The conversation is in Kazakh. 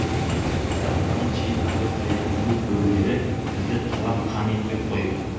бірақ оған шейін әбілқайырдың көк бөрілері бізді талап қан етпек қой